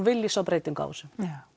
vilja sjá breytingu á þessu